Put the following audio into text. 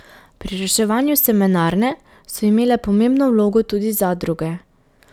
Pri reševanju Semenarne so imele pomembno vlogo tudi zadruge.